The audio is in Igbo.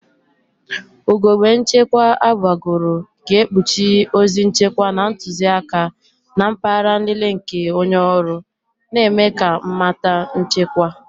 Ugogbe nchekwa eziokwu agbagoro ga-ekpuchi ozi nchekwa na ntuziaka na mpaghara nlele nke onye ọrụ, na-eme ka mmata nchekwa.